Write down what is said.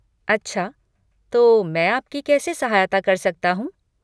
अच्छा, तो मैं आपकी कैसे सहायता कर सकता हूँ?